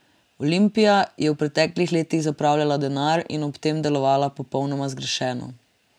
Olimpija je v preteklih letih zapravljala denar in ob tem delovala popolnoma zgrešeno.